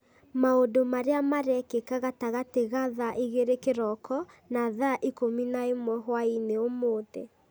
maũndũ marĩa marekĩka gatagatĩ ga thaa igĩrĩ kĩroko na thaa ikũmi na ĩmwe hwaĩ-inĩ ũmũthĩ